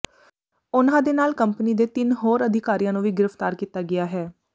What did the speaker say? ਉਨ੍ਹਾਂ ਦੇ ਨਾਲ ਕੰਪਨੀ ਦੇ ਤਿੰਨ ਹੋਰ ਅਧਿਕਾਰੀਆਂ ਨੂੰ ਵੀ ਗ੍ਰਿਫਤਾਰ ਕੀਤਾ ਗਿਆ ਹੈ